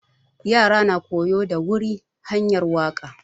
Ƴara na koyo da wuri hanƴar waka.